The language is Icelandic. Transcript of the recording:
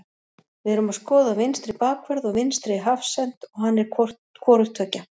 Við erum að skoða vinstri bakvörð og vinstri hafsent og hann er hvorugt tveggja.